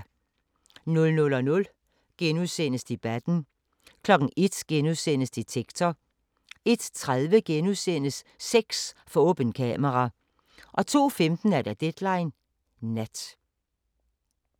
00:00: Debatten * 01:00: Detektor * 01:30: Sex for åbent kamera * 02:15: Deadline Nat